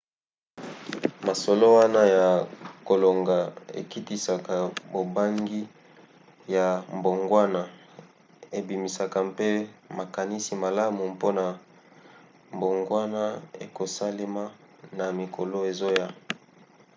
masolo wana ya kolonga ekitisaka bobangi ya mbongwana ebimisaka mpe makanisi malamu mpona mbongwana ekosalema na mikolo ezoya